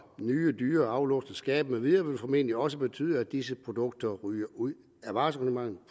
nye dyre aflåste skabe med videre vil formentlig også betyde at disse produkter ryger ud af varesortimentet